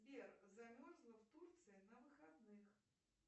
сбер замерзла в турции на выходных